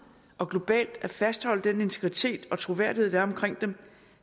og globalt at fastholde den integritet og troværdighed der er omkring dem